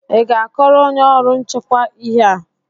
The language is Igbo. ị ga-akọrọ onye ọrụ nchekwa ihe a?